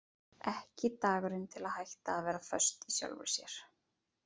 Ekki dagurinn til að hætta að vera föst í sjálfri sér.